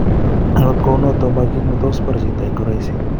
Angot kou notok mo kiit netot kobar chito en uraisi